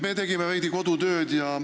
Me tegime veidi kodutööd.